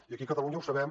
i aquí a catalunya ho sabem